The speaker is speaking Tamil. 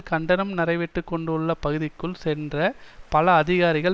கண்டனம் நடைபெற்று கொண்டுள்ள பகுதிக்குள் சென்ற பல அதிகாரிகள்